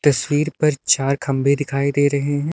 तस्वीर पर चार खंबे दिखाई दे रहे हैं।